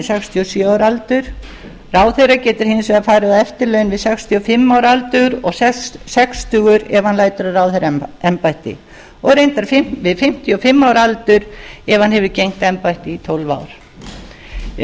sextíu og sjö ára aldur ráðherra getur hins vegar farið á eftirlaun við sextíu og fimm ára aldur og sextugur ef hann lætur af ráðherraembætti og reyndar við fimmtíu og fimm ára aldur ef hann hefur gegnt embætti í tólf ár um